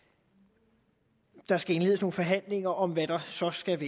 der skal indledes nogle forhandlinger om hvad der så skal